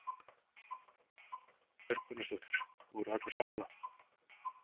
Erla Björg Gunnarsdóttir: Voru allir sammála?